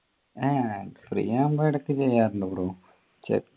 ഏർ free ആകുമ്പോ ഇടക്ക് ചെയ്യാറുണ്ട് bro ചെ